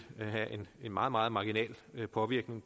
have en meget meget marginal påvirkning